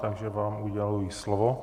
Takže vám uděluji slovo.